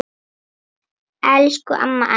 Elsku amma Anney.